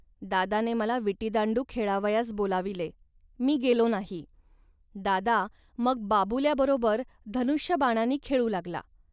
दादाने मला विटीदांडू खेळावयास बोलाविले, मी गेलो नाही. दादा मग बाबुल्याबरोबर धनुष्यबाणांनी खेळू लागला